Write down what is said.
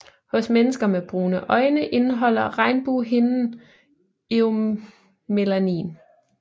Hos mennesker med brune øjne indeholder regnbuehinden eumelanin